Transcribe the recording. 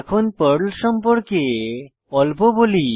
এখন পর্ল সম্পর্কে অল্প বলি